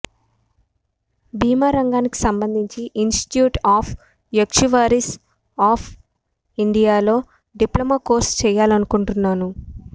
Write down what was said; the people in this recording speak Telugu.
బీమా రంగానికి సంబంధించి ఇన్స్టిట్యూట్ ఆఫ్ యాక్చువరీస్ ఆఫ్ ఇండియాలో డిప్లొమా కోర్సు చేయాలనుకుంటున్నాను